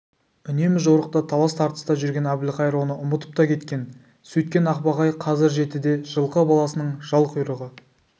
үнемі жорықта талас-тартыста жүрген әбілқайыр оны ұмытып та кеткен сөйткен ақбақай қазір жетіде жылқы баласының жал-құйрығы